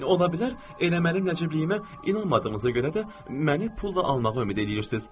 Olar eləməli Nəcəbliyimə inanmadığınıza görə də məni pulla almağa ümid eləyirsiz.